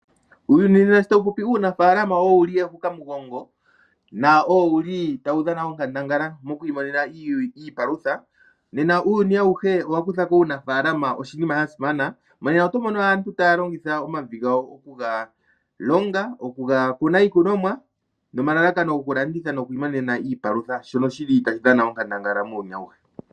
Uuyuni monena shi tawu popi, uunafaalama owo wu li ehukamugongo notawu dhana onkandangala moku imonena iipalutha. Uuyuni auhe owa kutha ko uunafaalama onga oshinima sha simana. Monena oto mono aantu taya longitha omavi gawo okuga longa, okuga kuna iikunomwa nomalalakano gokulanditha noku imonena iipalutha shono tashi dhana onkandangala muuyuni auhe.